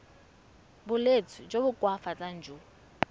bolwetsi jo bo koafatsang jo